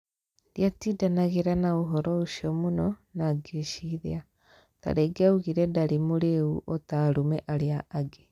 Ndiatindanagĩra na ũhoro ũcio mũno na ngĩciria, tarĩngĩ augire ndarĩ murĩĩu o ta arũme arĩa angĩ.